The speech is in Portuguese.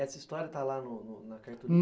Essa história está lá na cartolina?